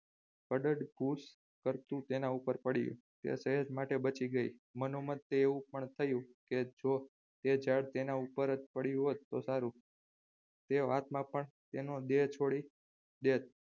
વડદ કોષ તેના ઉપર પડી તે સહેજ માટે બચી ગઈ મનોમન તેને એવું પણ થયું કે જો તે ઝાડ તેના ઉપર જ પડ્યું હોત તો સારું તે વાતમાં પણ તેનું દેહ છોડી દેત